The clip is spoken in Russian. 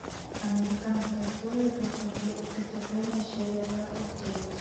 американская история преступления серия двадцать девять